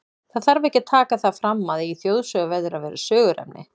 Það þarf ekki að taka það fram, að í þjóðsögu verður að vera söguefni.